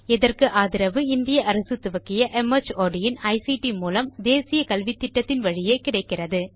இதற்கு ஆதரவு இந்திய அரசு துவக்கிய மார்ட் இன் ஐசிடி மூலம் தேசிய கல்வித்திட்டத்தின் வழியே கிடைக்கிறது